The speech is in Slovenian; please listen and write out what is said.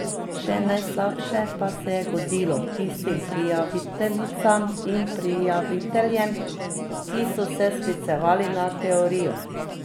Še najslabše pa se je godilo tistim prijaviteljicam in prijaviteljem, ki so se sklicevali na teorijo.